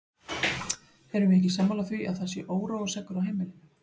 Erum við ekki sammála því að það sé óróaseggur á heimilinu!